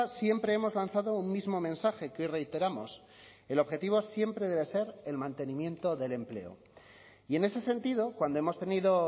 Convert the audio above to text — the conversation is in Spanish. siempre hemos lanzado un mismo mensaje que reiteramos el objetivo siempre debe ser el mantenimiento del empleo y en ese sentido cuando hemos tenido